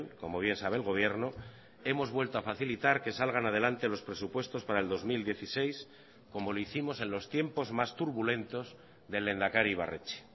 como bien sabe el gobierno hemos vuelto a facilitar que salgan adelante los presupuestos para el dos mil dieciséis como lo hicimos en los tiempos más turbulentos del lehendakari ibarretxe